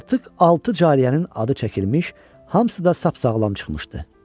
Artıq altı cariyənin adı çəkilmiş, hamısı da sap sağlam çıxmışdı.